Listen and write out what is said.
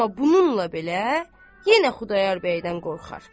Amma bununla belə yenə Xudayar bəydən qorxar.